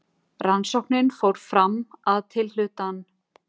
Rannsóknin fór fram að tilhlutan